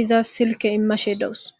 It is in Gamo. iza silke immashe dowos